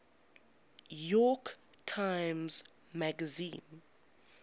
york times magazine